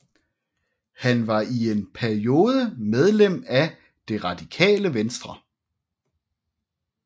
Han var i en periode medlem af Det Radikale Venstre